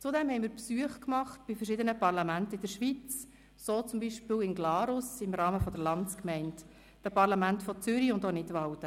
Zudem machten wir Besuche bei verschiedenen Parlamenten in der Schweiz, so zum Beispiel in Glarus im Rahmen der Landsgemeinde sowie in Zürich und Nidwalden.